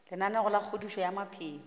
lenaneo la kgodišo ya maphelo